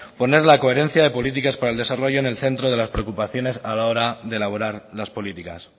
poner la coherencia de políticas para el desarrollo en el centro de las preocupaciones a la hora de elaborar las políticas